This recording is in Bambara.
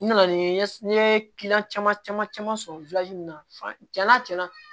N nana ni n ye n ye caman caman sɔrɔ na cɛn na cɛn na